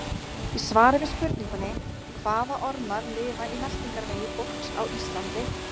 Í svari við spurningunni Hvaða ormar lifa í meltingarvegi fólks á Íslandi?